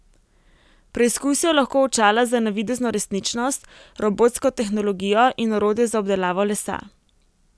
Preizkusijo lahko očala za navidezno resničnost, robotsko tehnologijo in orodje za obdelavo lesa.